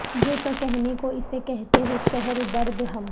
یوں تو کہنے کو اسے کہتے ہیں شہر درد ہم